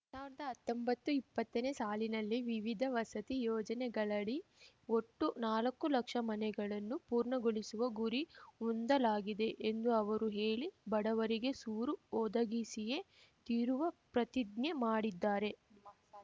ಎರ್ಡ್ ಸಾವಿರ್ದಾ ಹತ್ತೊಂಬತ್ತುಇಪ್ಪತ್ತನೇ ಸಾಲಿನಲ್ಲಿ ವಿವಿಧ ವಸತಿ ಯೋಜನೆಗಳಡಿ ಒಟ್ಟು ನಾಲಕ್ಕು ಲಕ್ಷ ಮನೆಗಳನ್ನು ಪೂರ್ಣಗೊಳಿಸುವ ಗುರಿ ಹೊಂದಲಾಗಿದೆ ಎಂದು ಅವರು ಹೇಳಿ ಬಡವರಿಗೆ ಸೂರು ಒದಗಿಸಿಯೇ ತೀರುವ ಪ್ರತಿಜ್ಞೆ ಮಾಡಿದ್ದಾರೆ